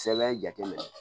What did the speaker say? Sɛbɛn jateminɛ